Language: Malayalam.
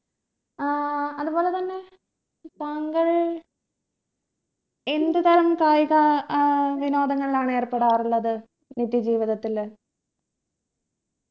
ഏർ അതുപോലെ തന്നെ താങ്കൾ എന്ത് തരം കായിക ഏർ വിനോദങ്ങളിലാണ് ഏർപ്പെടാറുള്ളത് നിത്യ ജീവിതത്തില